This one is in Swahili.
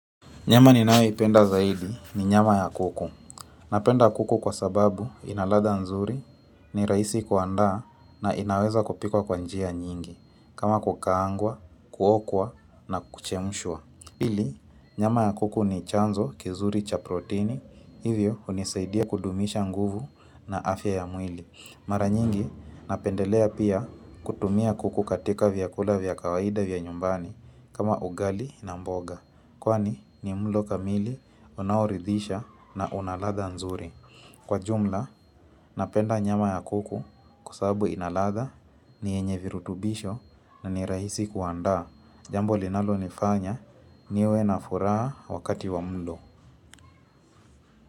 Nyama ninayoipenda zaidi ni nyama ya kuku. Napenda kuku kwa sababu inaladha nzuri ni raisi kuanda na inaweza kupikwa kwa njia nyingi. Kama kukaangwa, kuokwa na kuchemshwa. Pili, nyama ya kuku ni chanzo kizuri cha proteini. Hivyo, hunisaidia kudumisha nguvu na afya ya mwili. Mara nyingi, napendelea pia kutumia kuku katika vyakula vya kawaida vya nyumbani kama ugali na mboga. Kwani ni mlo kamili unaoridisha na unaladha nzuri Kwa jumla napenda nyama ya kuku kusabu inaladha ni enye virutubisho na ni rahisi kuandaa Jambo linalo nifanya niwe na furaha wakati wa mlo.